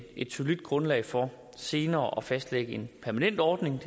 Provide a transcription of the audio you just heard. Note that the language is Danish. et solidt grundlag for senere at fastlægge en permanent ordning